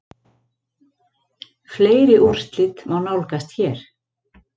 Fleiri úrslit má nálgast hér